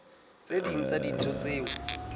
tse ding tsa dintho tseo